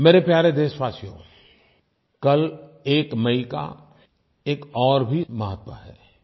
मेरे प्यारे देशवासियों कल 1 मई का एक और भी महत्व है